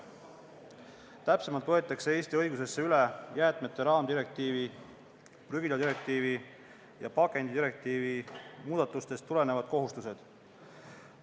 Täpsemalt võetakse Eesti õigusesse üle jäätmete raamdirektiivi, prügiladirektiivi ja pakendidirektiivi muudatustest tulenevad kohustused.